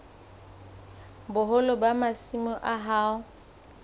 boholo ba masimo a hao